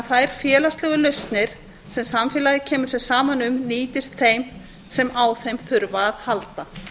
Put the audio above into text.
þær félagslegu lausnir sem samfélagið kemur sér saman um nýtist þeim sem á þeim þurfa að halda